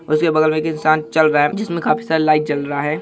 उसके बगल में एक इन्सान चल रहा है जिसमें काफी सारा लाइट जल रहा है।